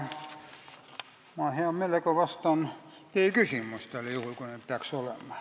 Hea meelega vastan teie küsimustele, juhul kui neid peaks olema.